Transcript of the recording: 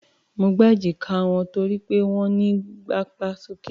Mo gbá èjíká wọn torí pé wọ́n ń gapá sókè.